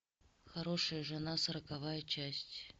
хорошая жена сороковая часть